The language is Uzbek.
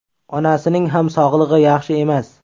Onasining ham sog‘ligi yaxshi emas.